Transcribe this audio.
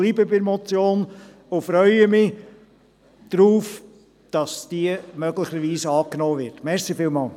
Ich bleibe bei der Motion und freue mich darauf, dass diese möglicherweise angenommen wird.